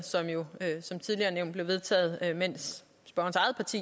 som tidligere nævnt blev vedtaget mens spørgerens